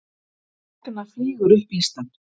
Ragna flýgur upp listann